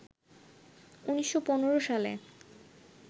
১৯১৫ সালে